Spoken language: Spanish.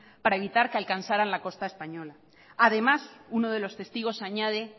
para evitar que alcanzaran la costa española además uno de los testigos añade